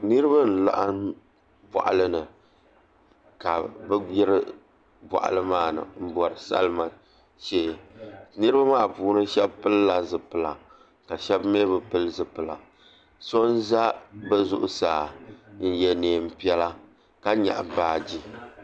Niraba n laɣam boɣali ni ka bi gbiri boɣali maa ni n bori salima shee niraba puuni shab pilila zipila ka shab mii bi pili zipila so n ʒɛ bi zuɣusaa n yɛ neen piɛla ka nyaɣa baaji